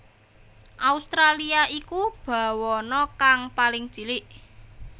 Australia iku bawana kang paling cilik